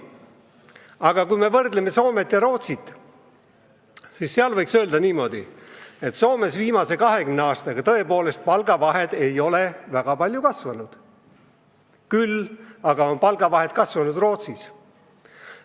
Aga kui me võrdleme Soomet ja Rootsit, siis võiks öelda niimoodi, et Soomes ei ole viimase 20 aastaga palgavahed väga palju kasvanud, küll aga on palgavahed kasvanud Rootsis.